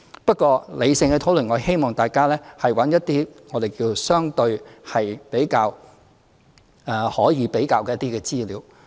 不過，理性地討論，我希望大家找一些相對可以比較的資料。